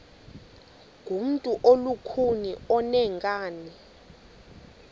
ngumntu olukhuni oneenkani